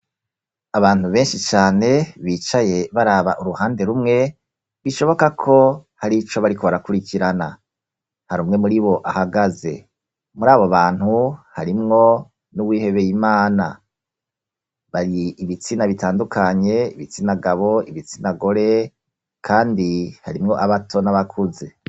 abantu benshi cane bicaye baraba uruhande rumwe bishoboka ko hari ico bari ko barakurikirana harimwo muri abo ahagaze muri abo bantu harimwo n'uwihebeye imana hari ibitsina bitandukanye ibitsina gabo ibitsina gore kandi harimwo abato n'abakuze